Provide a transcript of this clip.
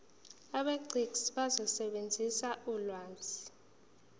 abegcis bazosebenzisa ulwazi